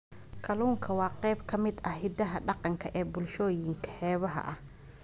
Kalluunku waa qayb ka mid ah hiddaha dhaqanka ee bulshooyinka xeebaha ah.